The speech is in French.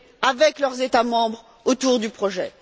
avec leurs États membres autour du projet.